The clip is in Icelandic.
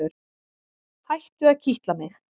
Hættu að kitla mig.